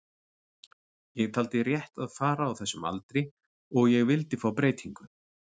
Ég taldi rétt að fara á þessum aldri og ég vildi fá breytingu.